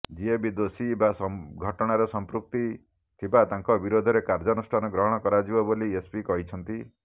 ଯିଏ ବି ଦୋଷୀ ବା ଘଟଣାରେ ସମ୍ପୃକ୍ତି ଥିବା ତାଙ୍କ ବିରୋଧରେ କାର୍ଯ୍ୟାନୁଷ୍ଠାନ ଗ୍ରହଣ କରାଯିବ ବୋଲି ଏସପି କହିଛନ୍ତିା